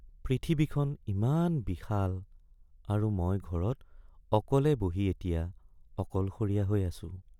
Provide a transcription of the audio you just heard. পৃথিৱীখন ইমান বিশাল আৰু মই ঘৰত অকলে বহি এতিয়া অকলশৰীয়া হৈ আছোঁ।